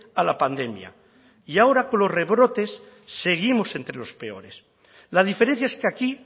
a la pandemia y ahora con los rebrotes seguimos entre los peores la diferencia es que aquí